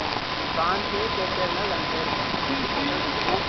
Ni பிரான்ஸ் ketute இருந்தாலும் தந்தடே இருப்பாங்க